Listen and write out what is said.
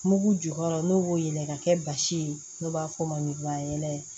Mugu jukɔrɔ n'o b'o yɛlɛma ka kɛ basi ye n'o b'a f'o ma ɲugubayɛlɛ